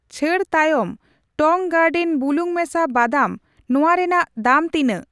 ᱪᱷᱟᱹᱲ ᱛᱟᱭᱚᱢ ᱴᱚᱝ ᱜᱟᱨᱰᱮᱱ ᱵᱩᱞᱩᱝ ᱢᱮᱥᱟ ᱵᱟᱫᱟᱢ ᱱᱚᱣᱟ ᱨᱮᱱᱟᱜ ᱫᱟᱢ ᱛᱤᱱᱟᱜ ?